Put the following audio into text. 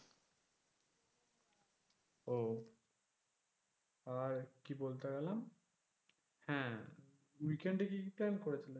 ওহ আর কি বলতে গেলাম হ্যাঁ weekend এ কি কি plan করেছো?